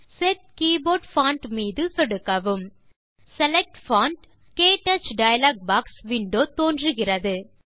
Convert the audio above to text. set keyboard font மீது சொடுக்கவும் select font - க்டச் டயலாக் பாக்ஸ் விண்டோ தோன்றுகிறது